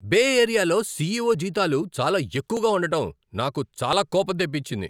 బే ఏరియాలో సిఈఓ జీతాలు చాలా ఎక్కువగా ఉండటం నాకు చాలా కోపం తెప్పించింది.